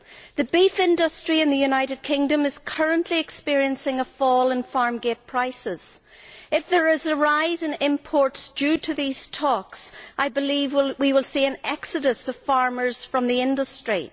The beef industry in the United Kingdom is currently experiencing a fall in farm gate prices. If there is a rise in imports due to these talks, I believe we will see an exodus of farmers from the industry.